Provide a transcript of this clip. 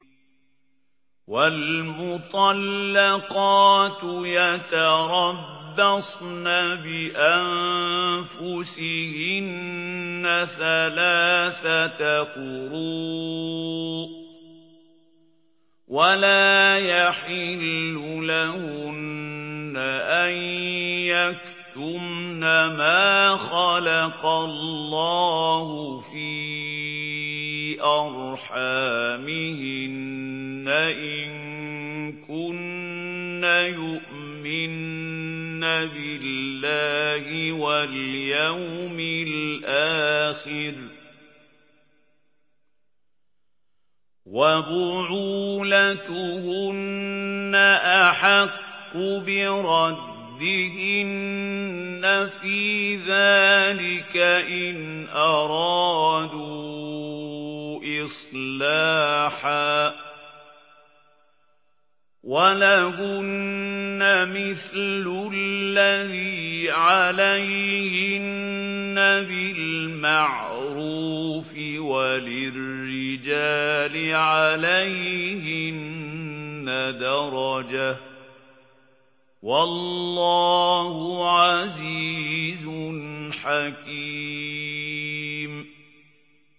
وَالْمُطَلَّقَاتُ يَتَرَبَّصْنَ بِأَنفُسِهِنَّ ثَلَاثَةَ قُرُوءٍ ۚ وَلَا يَحِلُّ لَهُنَّ أَن يَكْتُمْنَ مَا خَلَقَ اللَّهُ فِي أَرْحَامِهِنَّ إِن كُنَّ يُؤْمِنَّ بِاللَّهِ وَالْيَوْمِ الْآخِرِ ۚ وَبُعُولَتُهُنَّ أَحَقُّ بِرَدِّهِنَّ فِي ذَٰلِكَ إِنْ أَرَادُوا إِصْلَاحًا ۚ وَلَهُنَّ مِثْلُ الَّذِي عَلَيْهِنَّ بِالْمَعْرُوفِ ۚ وَلِلرِّجَالِ عَلَيْهِنَّ دَرَجَةٌ ۗ وَاللَّهُ عَزِيزٌ حَكِيمٌ